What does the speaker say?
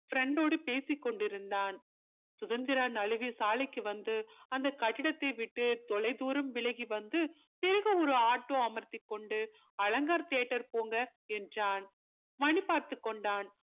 friend டோடு பேசி கொண்டிருந்தான் சுதந்திரா நழுவி சாலைக்கு வந்து அந்த கட்டிடத்தை விட்டு தொலைதூரம் விலகி வந்து பிறகு ஒரு ஆட்டோ அமர்த்தி கொண்டு அலங்கார் theater போங்க என்றான் மணி பார்த்து கொண்டான்